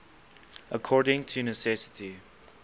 according to necessity